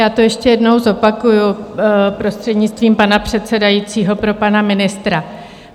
Já to ještě jednou zopakuji, prostřednictvím pana předsedajícího, pro pana ministra.